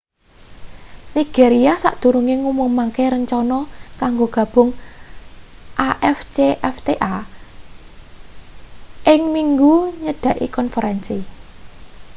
nigeria sadurunge ngumumake rencana kanggo gabung afcfta ing minggu nyedaki konferensi